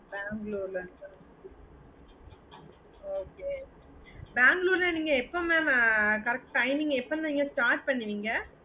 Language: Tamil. bangalore ல இருந்து okay Bangalore ல நீங்க எப்போ mam correct timing எப்போ நீங்க start பண்ணுவிங்க